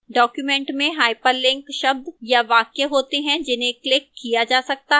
documents में hyperlink शब्द या वाक्य होते हैं जिन्हें clicked किया जा सकता है